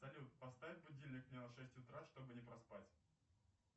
салют поставь будильник мне на шесть утра чтобы не проспать